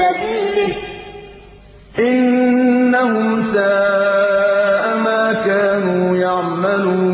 سَبِيلِهِ ۚ إِنَّهُمْ سَاءَ مَا كَانُوا يَعْمَلُونَ